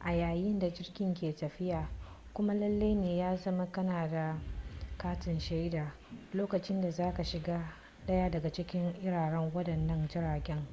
a yayin da jirgin ke tafiya kuma lallai ne ya zama kana da katin shaida lokacin da za ka shiga daya daga cikin irin wadannan jiragen